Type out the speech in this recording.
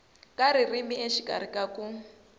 ka ririmi exikarhi ka ku